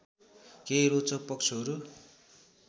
केही रोचक पक्षहरू